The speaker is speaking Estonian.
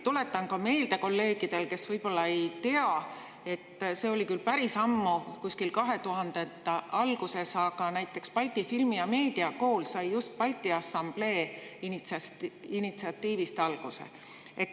Tuletan ka meelde kolleegidele, kes võib-olla ei tea, et see oli küll päris ammu, kuskil 2000. aastate alguses, aga näiteks Balti Filmi- ja Meediakool sai just Balti Assamblee initsiatiivist alguse.